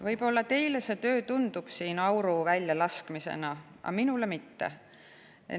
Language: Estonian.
Võib-olla teile tundub see töö siin auru väljalaskmisena, aga minule mitte.